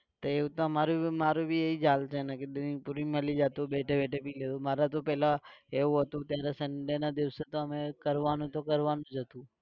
તે એવું તો અમારું भी મારુ भी એ જ હાલ છે ને કે Drink પૂરી મળી જતું બેઠે બેઠે પી લીધું. મારે તો પહેલા એવું હતું ત્યારે sunday ના દિવસે તો અમે કરવા નું તો કરવા નું જ હતું